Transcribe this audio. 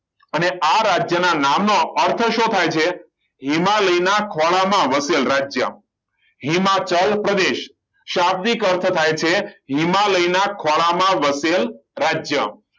અને આ રાજ્યના નામ નો અર્થ શું થાય છે એમાં લઈને ના ખોળામાં વસેલું રાજ્ય હિમાચલ પ્રદેશ શાબ્દિક અર્થ થાય છે હિમાલયના ખોળામાં વસેલ રાજ્ય